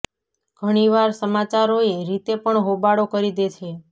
ઘણી વાર સમાચારો એ રીતે પણ હોબાળો કરી દે છે